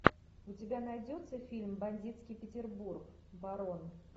у тебя найдется фильм бандитский петербург барон